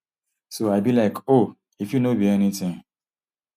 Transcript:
so i be like oh e fit no be anytin